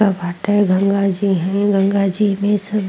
गंगा घाटे गंगा जी हैन। गंगा जी में सब --